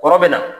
Kɔrɔ bɛ na